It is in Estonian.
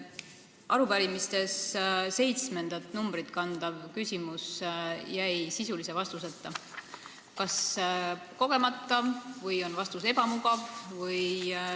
Arupärimises järjekorranumbrit 7 kandev küsimus jäi sisulise vastuseta, kas siis kogemata või on vastus ebamugav.